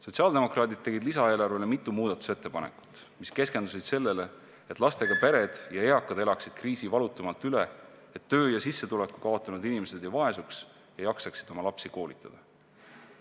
Sotsiaaldemokraadid tegid lisaeelarve kohta mitu muudatusettepanekut, mis keskendusid sellele, et lastega pered ja eakad elaksid kriisi valutumalt üle, et töö ja sissetuleku kaotanud inimesed ei vaesuks ja jaksaksid oma lapsi koolitada.